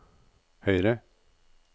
høyre